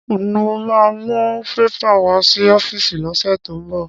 Mo ma mú pépà wá sí ọ́fíìsì lọ́sẹ̀ tó ń bọ̀